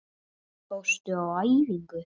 Fórstu á æfingu?